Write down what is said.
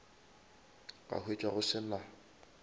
ka hwetša go se na